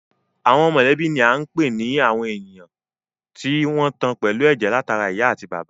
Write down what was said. Àwọn mọ̀lẹ́bí ni à ń pè ní àwọn èèyàn tí wọ́n tan pẹ̀lú ẹ̀jẹ̀ látara ìyá àti bàbá